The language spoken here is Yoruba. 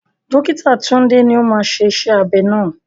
Dókítà Tunde ni ó máa ṣe iṣẹ́ abẹ náà.